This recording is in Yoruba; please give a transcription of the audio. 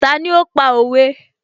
Ta ní ó pa òwe?